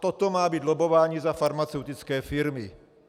A toto má být lobbování za farmaceutické firmy!